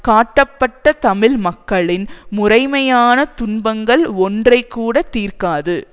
காட்டப்பட்ட தமிழ் மக்களின் முறைமையான துன்பங்கள் ஒன்றைக்கூட தீர்க்காது